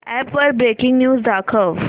app वर breaking news दाखव